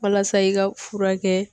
Walasa i ka furakɛ